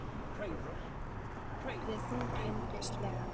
Eins og allt annað- bætti Sveinbjörn við þunglyndislega.